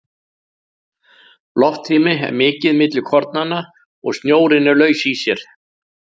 Loftrými er mikið milli kornanna, snjórinn er laus í sér.